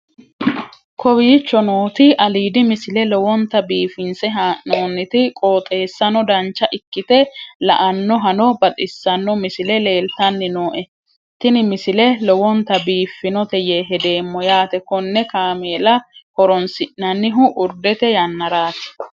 kowicho nooti aliidi misile lowonta biifinse haa'noonniti qooxeessano dancha ikkite la'annohano baxissanno misile leeltanni nooe ini misile lowonta biifffinnote yee hedeemmo yaate konne kaamella horoonsi'nannihu urdete yannaraati